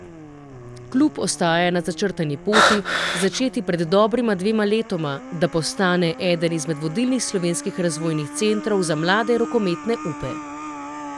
Klub ostaja na začrtani poti, začeti pred dobrima dvema letoma, da postane eden izmed vodilnih slovenskih razvojnih centrov za mlade rokometne upe.